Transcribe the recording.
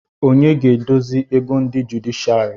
Onye ga-edozi ego ndị jụdịshịàrị